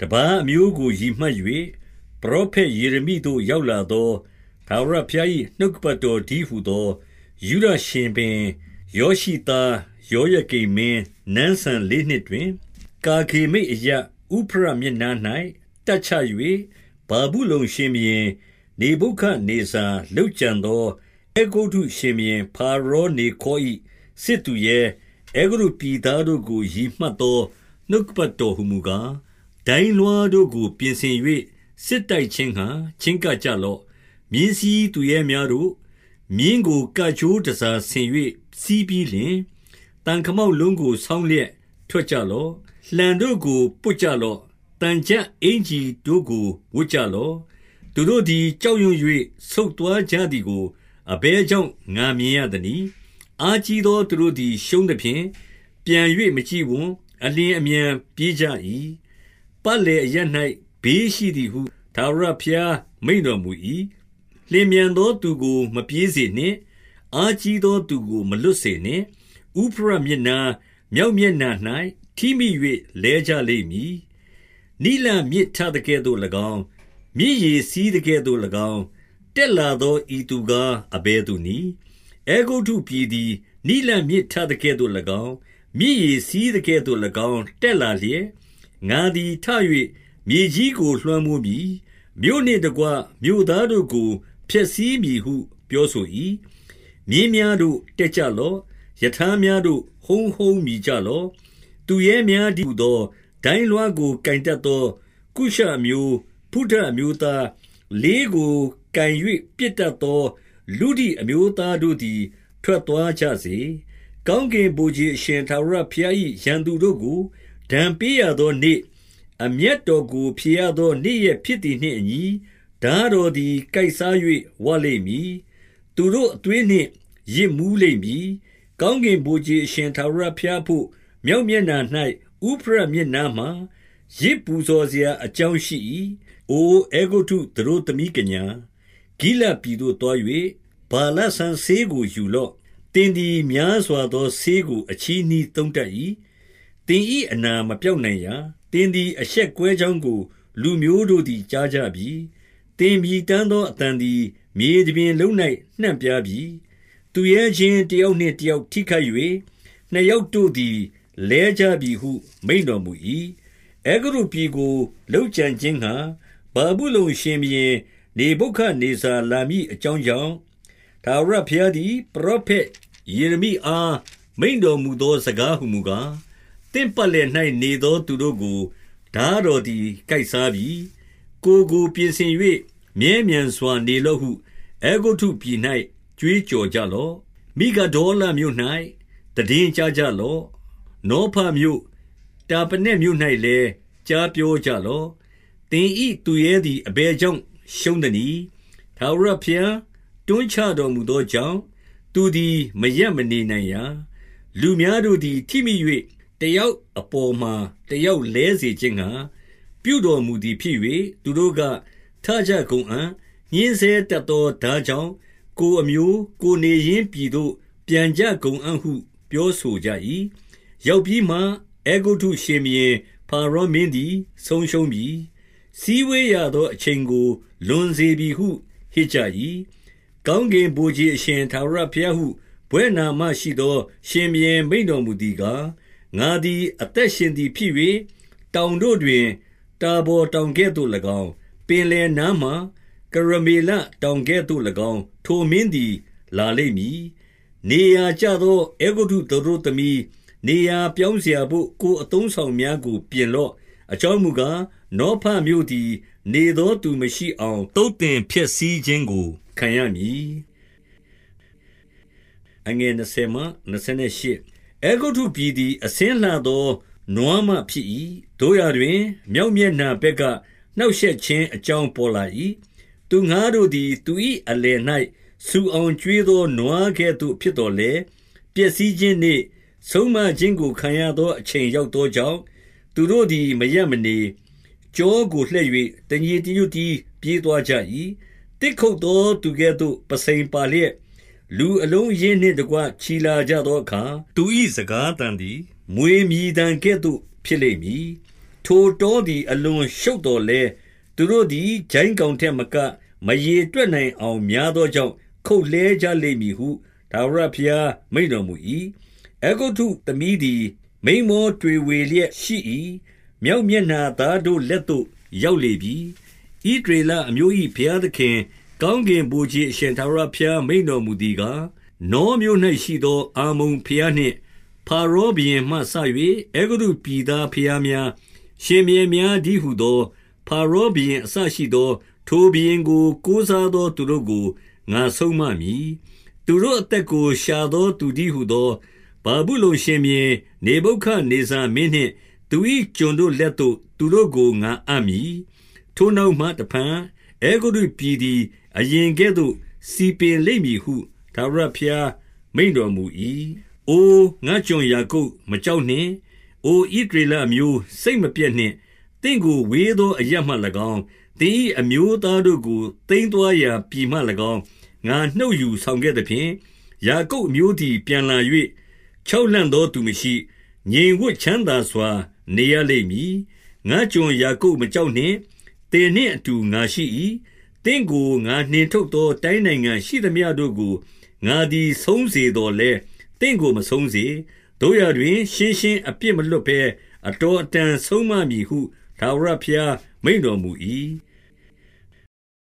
တပါးအမျိုးကိုရည်မှတ်၍ ပရောဖက်ယေရမိသို့ ရောက်လာသော ထာဝရဘုရား၏ နှုတ်ကပတ်တော် တည်းဟူသော၊ 2 ယုဒရှင်ဘုရင်ယောရှိသားယောယကိမ်မင်း နန်းစံ လေးနှစ်တွင်၊ ကာခေမိတ်အရပ်၊ ဥဖရတ်မြစ်နား၌ တပ်ချ၍၊ ဗာဗုလုန်ရှင်ဘုရင်နေဗုခဒ်နေဇာ လုပ်ကြံသော အဲဂုတ္တုရှင်ဘုရင် ဖာရော နေခေါ်၏ စစ်သူရဲ၊ အဲဂုတ္တုပြည်သားတို့ကို ရည်မှတ်သော နှုတ်ကပတ် တော်ဟူမူကား၊ 3 ဒိုင်းလွှားတို့ကို ပြင်ဆင်၍၊ စစ်တိုက်ခြင်းငှါ ချဉ်းကပ်ကြလော့။ 4 မြင်းစီးသူရဲများတို့၊ မြင်းကို ကကြိုးတန်ဆာ ဆင်၍စီးပြီးလျှင်၊ သံခမောက်လုံးကို ဆောင်းလျက် ထွက်ကြလော့။ လှံတို့ကိုပွတ်ကြလော့။ သံချပ်အင်္ကျီတို့ကို ဝတ်ကြလော့။ 5 သူတို့သည်ကြောက်ရွံ့၍ ဆုတ်သွားကြသည်ကို အဘယ်ကြောင့် ငါမြင်ရသနည်း။ အားကြီးသော သူတို့ သည် ရှုံးသဖြင့် ပြန်၍မကြည့်ဝံ့။ အလျင်အမြန်ပြေးကြ ၏။ ပတ်လည်အရပ်၌ ဘေးရှိသည်ဟု ထာဝရဘုရား မိန့်တော်မူ၏။ 6 လျင်မြန်သောသူကို မပြေးစေနှင့်။ အားကြီး သော သူကိုမလွတ်စေနှင့်။ ဥဖရတ်မြစ်နား၊ မြောက် မျက်နှာ၌ ထိမိ၍လဲကြလိမ့်မည်။ 7 နိလမြစ်ထသကဲ့သို့၎င်း၊ မြစ်ရေစီးသကဲ့သို့၎င်း တက်လာသော ဤသူကား အဘယ်သူနည်း။ 8 အဲဂုတ္တုပြည်သည် နိလမြစ်ထသကဲ့သို့၎င်း၊ မြစ်ရေစီးသကဲ့သို့၎င်း တက်လာလျက်၊ ငါသည် ထ၍ မြေကြီးကို လွှမ်းမိုးမည်။ မြို့နှင့်တကွမြို့ သားတို့ကို ဖျက်ဆီးမည်ဟု ပြောဆို၏။ 9 မြင်းများတို့၊ တက်ကြလော့။ ရထားများတို့၊ ဟုန်းဟုန်းမြည်ကြလော့။ သူရဲများတည်းဟူသော၊ ဒိုင်းလွှားကို ကိုင်တတ်သော ကုရှအမျိုး၊ ဖုတအမျိုးသား၊ လေးကိုကိုင်၍ ပစ်တတ်သောလုဒိအမျိုးသားတို့သည် ထွက်သွားကြစေ။ 10 ကောင်းကင်ဗိုလ်ခြေအရှင်ထာဝရဘုရား၏ ရန်သူတို့ကို ဒဏ်ပေးရသောနေ့၊ အမျက်တော်ကို ဖြေရသောနေ့ရက်ဖြစ်သည်နှင့် အညီ၊ ထားတော်သည် ကိုက်စား၍ဝလိမ့်မည်။ သူတို့အသွေးနှင့် ယစ်မူးလိမ့်မည်။ ကောင်းကင်ဗိုလ်ခြေ အရှင် ထာဝရဘုရားအဘို့၊ မြောက်မျက်နှာ၌ ဥဖရတ်မြစ်နားမှာ ယဇ်ပူဇော်စရာ အကြောင်ရှိ၏။ 11 အိုအဲဂုတ္တုသတို့သမီးကညာ၊ ဂိလဒ်ပြည်သို့ သွား၍ဗာလစံစေးကို ယူလော့။ သင်သည်များစွာသော ဆေးကိုအချည်းနှီးသုံးတတ်၏။ သင်၏အနာ မပျောက် နိုင်ရာ။ 12 သင်သည် အရှက်ကွဲကြောင်းကို လူမျိုးတို့သည် ကြားကြပြီ။ သင် မြည်တမ်းသော အသံသည်းမြေတပြင် လုံး၌ နှံ့ပြားပြီး။ သူရချင်းတယောက်နှင့် တယောက် ထိခိုက်၍၊ နှစ်ယောက်တို့သည်လဲကြပြီဟု မိန့်တော်မူ၏။ 13 အဲဂုတ္တုပြည်ကိုလုပ်ကြံခြင်းငှါ ဗာဗုလုန် ရှင်ဘုရင်နေဗုဒဒ်နေဇာလာမည်အကြောင်းကြောင့်၊ ထာဝရဘုရားသည် ပရောဖက်ယေရမိအား မိန့်တော်မူ သော စကားဟူမူကား၊ 14 သင့်ပတ်လည်၌နေသောသူတို့ကို ထားတော် သည် ကိုက်စားပြီ။ ကိုယ်ကိုပြင်ဆင်၍ မြဲမြံစွာ နေလော့ ဟု အဲဂုတ္တုပြည်၌ကြွေးကြော်ကြလော့။ မိဂဒေါလမြို့၌ သိတင်းကြားကြလော့။ နောဖမြို့၊ တာပနက်မြို့၌လည်း ကြားပြောကြလော့။ 15 သင်၏သူရဲသည် အဘယ်ကြောင့် ရှုံးသနည်း။ ထာဝရဘုရားတွန်းချတော်မူသောကြောင့်၊ သူသည် မရပ် မနေနိုင်ရာ။ 16 လူများတို့သည် ထိမိ၍တယောက်အပေါ်မှာ တယောက်လဲစေခြင်းငှါ ပြုတော်မူသည်ဖြစ်၍၊ သူတို့က၊ ထကြကုန်အံ့။ ညှဉ်းဆဲတတ်သော ထားကြောင့် ကိုယ် အမျိုး၊ ကိုယ်နေရင်းပြည်သို့ပြန်ကြကုန်အံ့ဟု ပြောဆို ကြ၏။ 17 ရောက်ပြီးမှ အဲဂုတ္တု ရှင်ဘုရင်ဖာရောမင်းသည် ဆုံးရှုံးပြီ။ စည်းဝေးရသောအချိန်ကို လွန်စေပြီဟု ဟစ်ကြ၏။ 18 ကောင်းကင်ဗိုလ်ခြေအရှင် ထာဝရဘုရားဟု ဘွဲ့နာမရှိသော ရှင်ဘုရင်မိန့်တော်မူသည်ကား၊ ငါသည် အသက်ရှင်သည်ဖြစ်၍၊ တောင်တို့တွင် တာဗော်တောင် ကဲ့သို့၎င်း၊ ပင်လယ်နားမှာကရမေလတောင်ကဲ့သို့ ၎င်း ထိုမင်းသည် လာလိမ့်မည်။ 19 နေရာကျသော အဲဂုတ္တုသတို့သမီး၊ နေရာ ပြောင်းစရာဘို့ ကိုယ်အသုံးအဆောင်များကို ပြင်လော့။ အကြောင်းမူကား၊ နေဖမြို့သည် နေသောသူမရှိအောင် သုတ်သင်ဖျက်ဆီးခြင်းကို ခံရမည်။ 20 အဲဂုတ္တုပြည်သည်အဆင်းလှသော နွားမဖြစ်၏။ သို့ရာတွင်၊ မြောက်မျက်နှာဘက်က နှောင့်ရှက်ခြင်း အကြောင်းပေါ်လာ၏။ 21 သူငှါးတို့သည် သူ၏အလယ်၌ ဆူအောင် ကျွေးသောနွားကဲ့သို့ ဖြစ်သော်လည်း၊ ပျက်စီးခြင်းနေ့၊ ဆုံးမခြင်းကိုခံရသော အချိန်ရောက်သောကြောင့်၊ သူတို့ သည် မရပ်မနေ၊ ကျောကိုလှည့်၍ တညီတညွတ်တည်း ပြေးသွားကြ၏။ 22 သစ်ခုတ်သောသူကဲ့သို့ ပုဆိန်ပါလျက်၊ လူအလုံး အရင်းနှင့်တကွ ချီလာကြသောအခါ၊ သူ၏စကားသံ သည် မြွေမြည်သံကဲ့သို့ ဖြစ်လိမ့်မည်။ 23 ထိုတောသည် အလွန်ရှုပ်သော်လည်း၊ သူတို့ သည် ကျိုင်းကောင်ထက်မက မရေတွက်နိုင်အောင် များသောကြောင့် ခုတ်လှဲကြလိမ့်မည်ဟု ထာဝရဘုရား မိန့်တော်မူ၏။ 24 အဲဂုတ္တုသတို့သမီးသည် မိန်းမောတွေဝေလျက် ရှိ၏။ မြောက်မျက်နှာပြည်သားတို့ လက်သို့ရောက်လေပြီ။ 25 ဣသရေလအမျိုး၏ဘုရားသခင်ကောင်းကင် ဗိုလ်ခြေအရှင် ထာဝရဘုရားမိန့်တော်မူသည်ကား၊ နောမြို့၌ရှိသော အမ္မုန်ဘုရားနှင့် ဖာရောဘုရင်မှစ၍ အဲဂုတ္တုပြည်သားဘုရားများ၊ ရှင်ဘုရင်များတည်း ဟူသော၊ ဖာရောဘုရင်အစရှိသော၊ ထိုဘုရင်ကို ကိုးစား သော သူတို့ကို ငါဆုံးမမည်။ 26 သူတို့အသက်ကို ရှာသောသူတည်းဟူသော ဗာဗုလုန်ရှင်ဘုရင် နေဗုခဒ်နေဇာမင်းနှင့်သူ၏ ကျွန်တို့ လက်သို့ သူတို့ကို ငါအပ်မည်။ ထိုနောက်မှတဖန် အဲဂုတ္တု ပြည်သည်အရင်ကဲ့သို့ စည်ပင်လိမ့်မည်ဟု ထာဝရဘုရား မိန့်တော်မူ၏။ 27 အိုငါ့ကျွန်ယာကုပ်၊ မကြောက်နှင့်။ အို ဣသရေလအမျိုး၊ စိတ်မပျက်နှင့်။ သင့်ကိုဝေးသောအရပ်မှ၎င်း၊ သင်၏အမျိုးသားတို့ကို သိမ်းသွားရာ ပြည်မှ၎င်း ငါနှုတ် ယူဆောင်ခဲ့သဖြင့်၊ ယာကုပ်အမျိုးသည်ပြန်လာ၍၊ ချောက်လှန့်သောသူမရှိ၊ ငြိမ်ဝပ်ချမ်းသာစွာ နေရ လိမ့်မည်။ 28 ငါ့ကျွန်ယာကုပ်မကြောက်နှင့်။ သင်နှင့်အတူ ငါရှိ၏။ သင့်ကို ငါနှင်ထုတ်သော တိုင်းနိုင်ငံရှိသမျှတို့ကို ငါသည်ဆုံးမစေသော်လည်း၊ သင့်ကို မဆုံးစေ။ သို့ရာတွင်၊ ရှင်းရှင်းအပြစ်မလွှတ်ဘဲ အတော်အတန် ဆုံးမမည်ဟု ထာဝရဘုရားမိန့်တော်မူ၏။